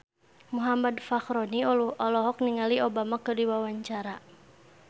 Muhammad Fachroni olohok ningali Obama keur diwawancara